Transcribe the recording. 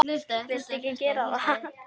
Viltu ekki gera það!